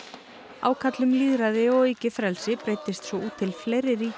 ákall um lýðræði og aukið frelsi breiddist svo út til fleiri ríkja